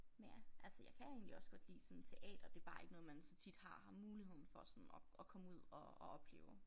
Men ja altså jeg kan egentlig også godt lide sådan teater det bare ikke noget man så tit har har muligheden for sådan at komme ud og og opleve